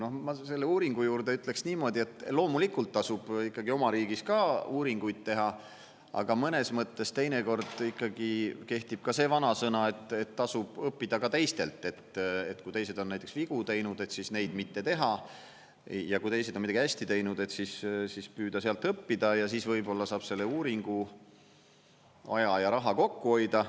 No ma selle uuringu juurde ütleksin niimoodi, et loomulikult tasub ikkagi oma riigis ka uuringuid teha, aga mõnes mõttes teinekord ikkagi kehtib ka see vanasõna, et tasub õppida ka teistelt, et kui teised on näiteks vigu teinud, siis neid mitte teha, ja kui teised on midagi hästi teinud, siis püüda sealt õppida ja siis võib-olla saab selle uuringu aja ja raha kokku hoida.